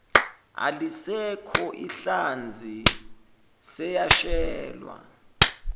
alisekho inhlazi seyashelwa